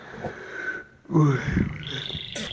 ой блять